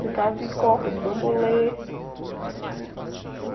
Brincava de corda, de bambolê.